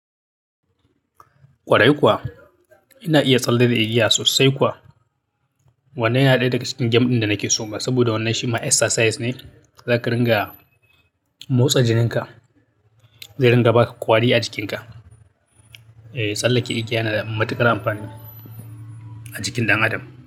Kwarai kuwa, ina iya tsalle da igiya sosai kuwa. Wannan yana ɗaya daga cikin game ɗin da nake so ma, saboda wannan shi ma exercise ne da zaka ringa motsa jininka, zai ringa ba ka ƙwari a jikinka. Eh, tsalleke igiya yana da matuƙar amfani a jikin ɗan adam.